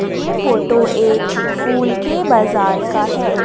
ये फोटो एक फूल के बाजार का है।